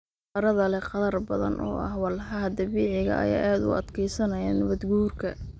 Carrada leh qadar badan oo ah walxaha dabiiciga ah ayaa aad u adkeysanaya nabaad guurka.